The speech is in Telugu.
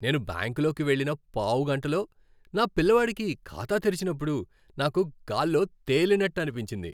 నేను బ్యాంకులోకి వెళ్ళిన పావుగంటలో నా పిల్లవాడికి ఖాతా తెరిచినప్పుడు నాకు గాల్లో తెలినట్టనిపించింది.